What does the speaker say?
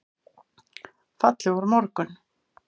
Fallegur morgun!